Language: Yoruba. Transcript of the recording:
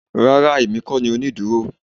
Rárá èmi kó ni onídúró